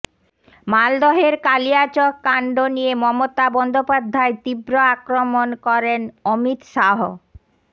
মালদহের কালিয়াচককাণ্ড নিয়ে মমতা বন্দ্যোপাধ্যায় তীব্র আক্রমণ করেন অমিত শাহ